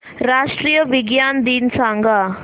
राष्ट्रीय विज्ञान दिन सांगा